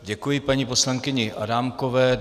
Děkuji paní poslankyni Adámkové.